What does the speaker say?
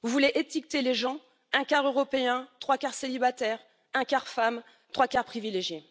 Vous voulez étiqueter les gens un quart Européen, trois quarts célibataire, un quart femme, trois quarts privilégié?